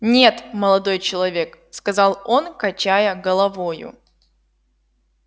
нет молодой человек сказал он качая головою